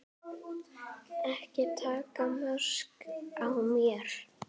Ekki taka mark á mér.